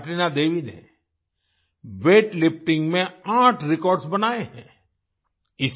Martina Devi ने weightlifting में आठ रेकॉर्ड्स बनाए हैं आई